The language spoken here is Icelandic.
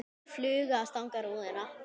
Engin fluga að stanga rúðuna.